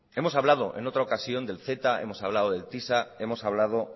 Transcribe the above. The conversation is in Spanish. hemos hablado en otra ocasión del ceta hemos hablado del tisa hemos hablado